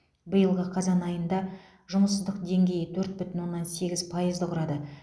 биылғы қазан айында жұмыссыздық деңгейі төрт бүтін оннан сегіз пайызды құрады